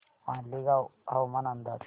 मालेगाव हवामान अंदाज